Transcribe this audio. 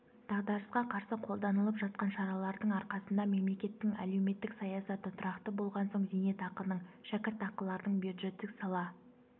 дағдарысқа қарсы қолданылып жатқан шаралардың арқасында мемлекеттің әлеуметтік саясаты тұрақты болған соң зейнетақының шәкіртақылардың бюджеттік сала